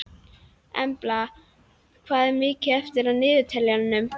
Embla, hvað er mikið eftir af niðurteljaranum?